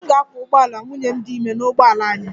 Ee e, m ga-akwọ ụgbọala nwunye m dị ime n'ụgbọala anyị